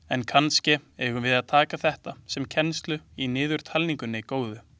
En kannske eigum við að taka þetta sem kennslu í niðurtalningunni góðu.